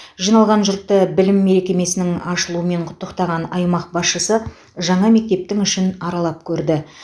жиналған жұртты білім мекемесінің ашылуымен құттықтаған аймақ басшысы жаңа мектептің ішін аралап көрді